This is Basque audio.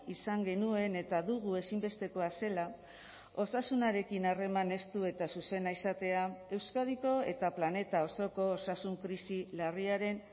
izan genuen eta dugu ezinbestekoa zela osasunarekin harreman estu eta zuzena izatea euskadiko eta planeta osoko osasun krisi larriaren